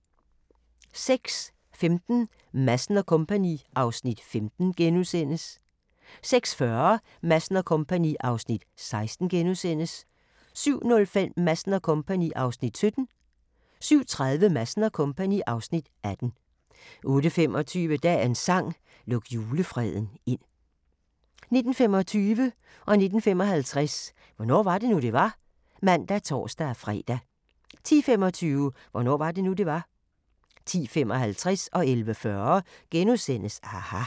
06:15: Madsen & Co. (Afs. 15)* 06:40: Madsen & Co. (Afs. 16)* 07:05: Madsen & Co. (Afs. 17) 07:30: Madsen & Co. (Afs. 18) 08:25: Dagens sang: Luk julefreden ind 09:25: Hvornår var det nu, det var? (man og tor-fre) 09:55: Hvornår var det nu, det var? (man og tor-fre) 10:25: Hvornår var det nu, det var? 10:55: aHA! * 11:40: aHA! *